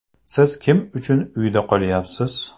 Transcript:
Siz kim uchun uyda qolyapsiz?